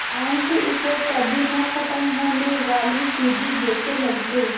अंक उसे कभी न ख़त्म होने वाली सीढ़ी जैसे लगते